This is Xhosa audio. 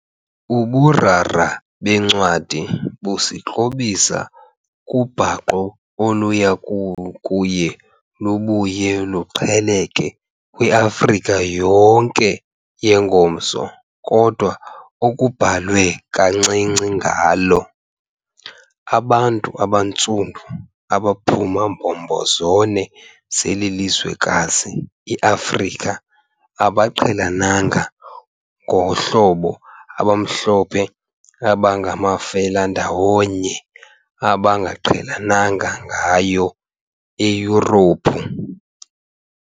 Uburara bencwadi busikrobisa kubhaqo oluya kuye lubuye luqheleke kwiAfrika yonke yengomso kodwa okubhalwe kancinci ngalo. Abantu abaNtsundu abaphuma mbombo zone zelizwekazi iAfrika abaqhelenanga ngohlobo abamhlophe abangamafelandawonye abangaqhelananga ngayo eYurophu.